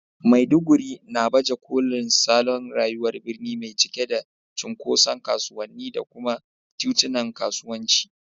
Maiduguri na baje kolin salon rayuwar birni mai cike da cunkoson kasuwanni da kuma titunan kasuwanci.